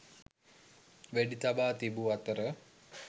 වෙඩි තබා තිබූ අතර